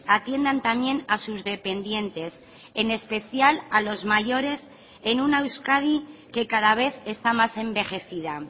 atiendan también a sus dependientes en especial a los mayores en una euskadi que cada vez está más envejecida